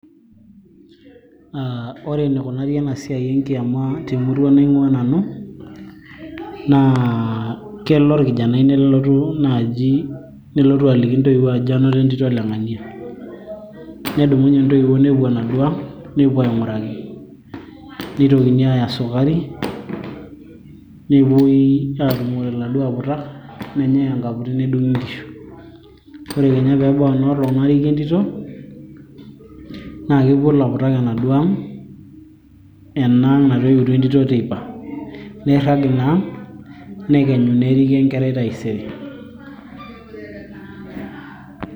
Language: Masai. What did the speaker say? uh, ore enikunari ena siai enkiama temurua naing'ua nanu naa kelo orkijanai nelotu naaji, nelotu aliki intoiwuo ajoki anoto entito ole ng'ania nedumunye intoiwuo nepuo enaduo ang nepuo aing'uraki nitokini aaya sukari nepuoi aatumore iladuo aputak nenyai enkaputi nedung'i inkishu ore kenya peebau enoolong nariki entito naa kepuo ilaputak enaduo ang ena ang natoiwutuo entito teipa nirrag ina ang nekenyu neriki enkerai taisere.